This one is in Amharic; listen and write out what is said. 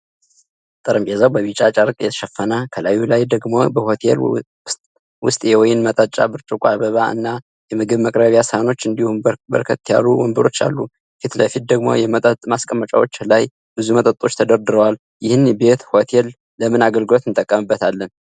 ጠረንጴዛው በቢጫ ጨርቅ የተሸፈነ ፣ከላዩ ላይ ደግሞ በሆቴሉ ውስጥየወይን መጠጫ ብርጭቆ ፣አበባ አና የምግብ መቅረቢያ ሳህኖች እንዲሁ በርከት ያሉ ወንበሮች አሉ። ፊት ለፊት ደግሞ የመጠጥ ማስቀመጫዎች ላይ ብዙ መጠጦች ተደርድረዋል። ይህን ቤት(ሆቴል) ለምን አገልግሎት እንጠቀምበታለን?